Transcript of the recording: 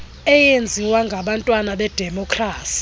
eyenziwa ngabantwana bedemokrasi